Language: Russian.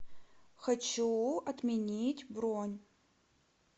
хочу отменить бронь